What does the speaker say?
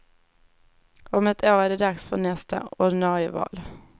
Om ett år är det dags för nästa ordinarie val.